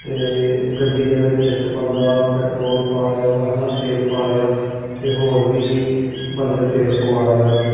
ਤੇ ਗੱਡੀ ਦੇ ਵਿੱਚ ਇੱਕ ਬੰਦਾ ਪੈਟਰੋਲ ਪਾ ਰਿਹਾ ਵਾ ਹੈ ਨਾ ਤੇਲ ਪਾ ਰਿਹਾ ਤੇ ਹੋਰ ਵੀ ਬੰਦੇ ਤੇਲ ਪਵਾ ਰਹੇ ਆ ਕੇ।